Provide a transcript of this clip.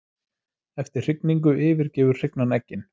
Eftir hrygningu yfirgefur hrygnan eggin.